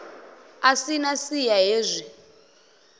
a si na siya hezwi